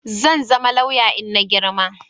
zanzama lauya inna girma